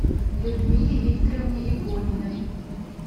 людмиле викторовне игониной